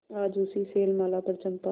आज उसी शैलमाला पर चंपा